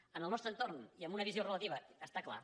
en el nos·tre entorn i amb una visió relativa està clar